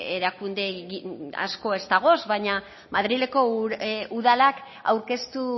erakunde asko ez dagoz baina madrileko udalak aurkeztu